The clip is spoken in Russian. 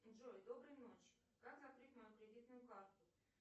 джой доброй ночи как закрыть мою кредитную карту